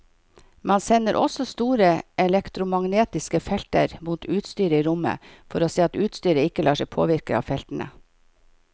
Man sender også store elektromagnetiske felter mot utstyret i rommet for å se at utstyret ikke lar seg påvirke av feltene.